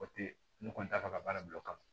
O tɛ ne kɔni t'a fɛ ka baara bila o kama